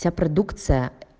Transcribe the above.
вся продукция